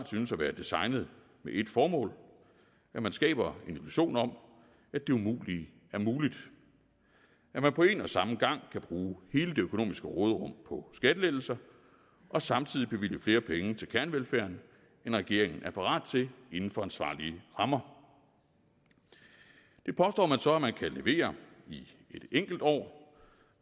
synes at være designet med ét formål at man skaber en illusion om at det umulige er muligt at man på en og samme gang kan bruge hele det økonomiske råderum på skattelettelser og samtidig bevilge flere penge til kernevelfærden end regeringen er parat til inden for ansvarlige rammer det påstår man så at man kan levere i et enkelt år